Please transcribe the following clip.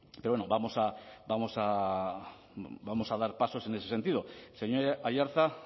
pero bueno vamos a dar pasos en ese sentido señor aiartza